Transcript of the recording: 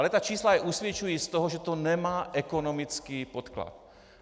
Ale ta čísla je usvědčují z toho, že to nemá ekonomický podklad.